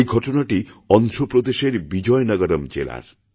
এই ঘটনাটিঅন্ধ্রপ্রদেশের বিজয়নগরম জেলার